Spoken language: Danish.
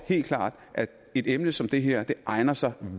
helt klart at et emne som det her egner sig